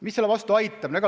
Mis selle vastu aitab?